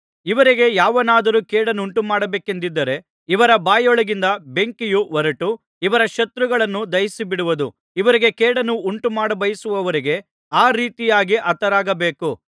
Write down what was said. ಇವರಿಗೆ ಯಾವನಾದರೂ ಕೇಡನ್ನುಂಟುಮಾಡಬೇಕೆಂದಿದ್ದರೆ ಇವರ ಬಾಯೊಳಗಿಂದ ಬೆಂಕಿಯು ಹೊರಟು ಇವರ ಶತ್ರುಗಳನ್ನು ದಹಿಸಿಬಿಡುವುದು ಇವರಿಗೆ ಕೇಡನ್ನು ಉಂಟುಮಾಡಬಯಸುವವರಿಗೆ ಆ ರೀತಿಯಾಗಿ ಹತರಾಗಬೇಕು